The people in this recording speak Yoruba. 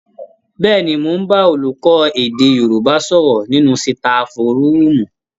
Bẹ́ẹ̀ni, mò ń bá olùkọ́ èdè Yorùbá sọ̀rọ̀ nínú sitafu rúùmù